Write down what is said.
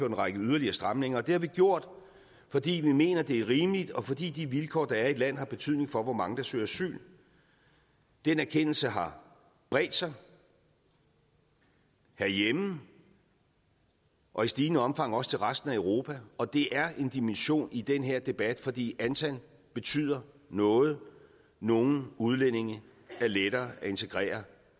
en række yderligere stramninger det har vi gjort fordi vi mener det er rimeligt og fordi de vilkår der er i et land har betydning for hvor mange der søger asyl den erkendelse har bredt sig herhjemme og i stigende omfang også til resten af europa og det er en dimension i den her debat fordi antal betyder noget nogle udlændinge er lettere at integrere